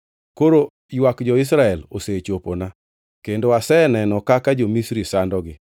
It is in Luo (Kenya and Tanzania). Koro ywak jo-Israel osechopona, kendo aseneno kaka jo-Misri sandogi.